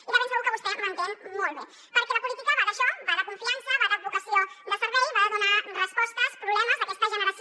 i de ben segur que vostè m’entén molt bé perquè la política va d’això va de confiança va de vocació de servei va de donar resposta als problemes d’aquesta generació